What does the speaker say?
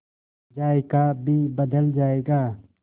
जायका भी बदल जाएगा